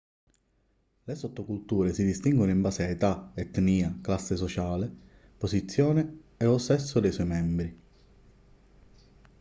le sottoculture si distinguono in base a età etnia classe sociale posizione e/o sesso dei suoi membri